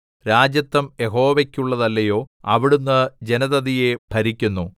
രാജത്വം യഹോവയ്ക്കുള്ളതല്ലയോ അവിടുന്ന് ജനതതിയെ ഭരിക്കുന്നു